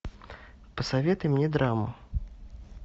посоветуй мне драму